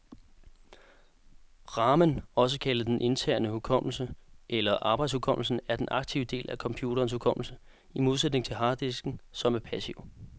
Ramen, også kaldet den interne hukommelse eller arbejdshukommelsen, er den aktive del af computerens hukommelse, i modsætning til harddisken, som er passiv.